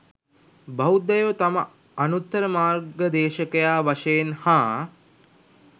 බෞද්ධයෝ තම අනුත්තර මාර්ගදේශකයා වශයෙන් හා